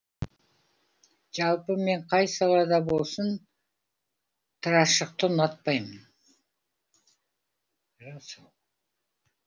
жалпы мен қай салада болсын тырашықты ұнатпаймын